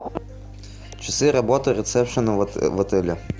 часы работы ресепшена в отеле